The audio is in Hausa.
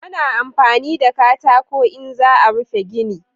Ana amfani da katako in za a rufe gini